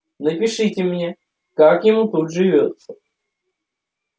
напишите мне как ему тут живётся